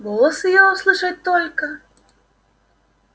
голос её услышать только